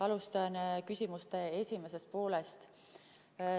Alustan küsimuse esimesest poolest.